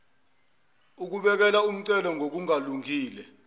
ukubekela umncele ngokungalungile